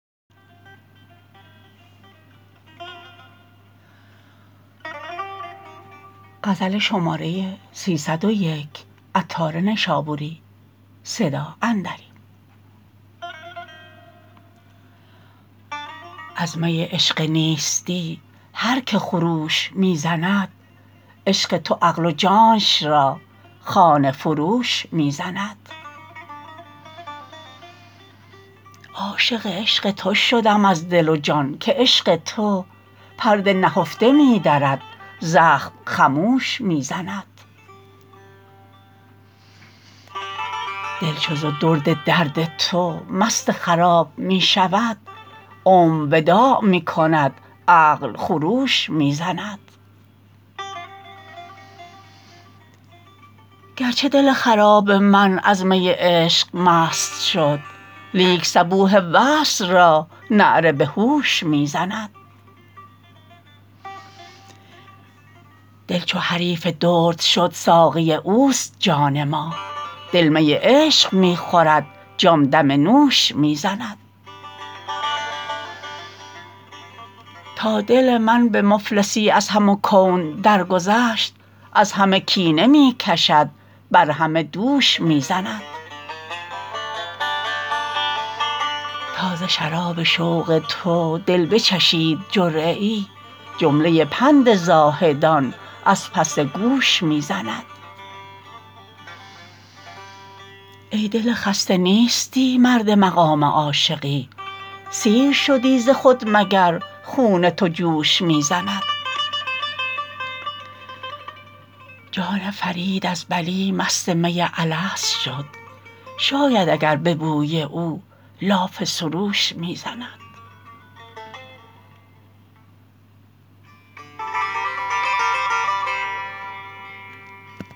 از می عشق نیستی هر که خروش می زند عشق تو عقل و جانش را خانه فروش می زند عاشق عشق تو شدم از دل و جان که عشق تو پرده نهفته می درد زخم خموش می زند دل چو ز درد درد تو مست خراب می شود عمر وداع می کند عقل خروش می زند گرچه دل خراب من از می عشق مست شد لیک صبوح وصل را نعره به هوش می زند دل چو حریف درد شد ساقی اوست جان ما دل می عشق می خورد جان دم نوش می زند تا دل من به مفلسی از همه کون درگذشت از همه کینه می کشد بر همه دوش می زند تا ز شراب شوق تو دل بچشید جرعه ای جمله پند زاهدان از پس گوش می زند ای دل خسته نیستی مرد مقام عاشقی سیر شدی ز خود مگر خون تو جوش می زند جان فرید از بلی مست می الست شد شاید اگر به بوی او لاف سروش می زند